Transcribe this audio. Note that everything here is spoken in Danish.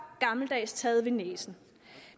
gammeldags taget ved næsen